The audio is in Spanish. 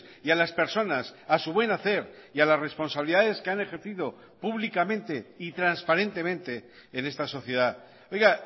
y a las personas a su buen hacer y a las responsabilidades que han ejercido públicamente y transparentemente en esta sociedad oiga